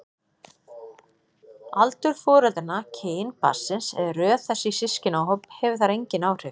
Aldur foreldranna, kyn barnsins eða röð þess í systkinahóp hefur þar engin áhrif.